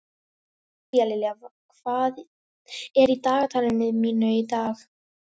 Tíalilja, hvað er í dagatalinu mínu í dag?